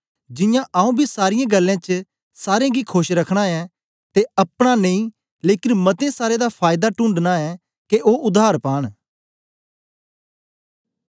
जियां आऊँ बी सारीयें गल्लें च सारें गी खोश रखना ऐं ते अपना नेई लेकन मते सारें दा फायदा टूणढनां ऐं के ओ उद्धार पान